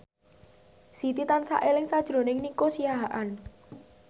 Siti tansah eling sakjroning Nico Siahaan